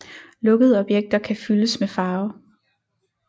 Lukkede objekter kan fyldes med farve